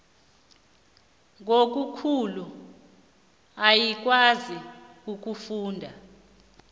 ngobukhulu ayikwazi ukufuna